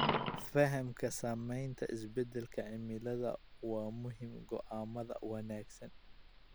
Fahamka saameynta isbedelka cimilada waa muhiim go'aamada wanaagsan.